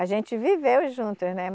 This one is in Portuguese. A gente viveu juntos, né?